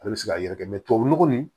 Ale bɛ se ka yɛrɛ kɛ tubabu nɔgɔ nin